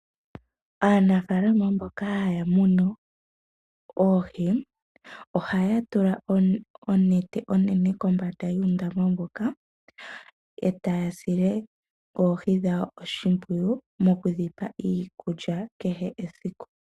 Aanafaalama mboka haya munu oohi, ohaya tula onete onene kombanda yuundama mboka, etaya sile oohi dhawo oshimpwiyu mokudhipa iikulya kehe esiku.